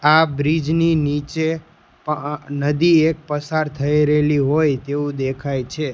આ બ્રિજ ની નીચે પઅ નદી એક પસાર થઈ રહેલી હોય તેવું દેખાય છે.